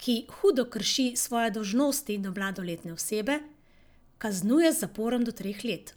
ki hudo krši svoje dolžnosti do mladoletne osebe, kaznuje z zaporom do treh let.